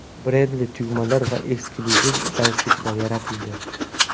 Brendli tugmalar va eksklyuziv galstuklar yaratildi.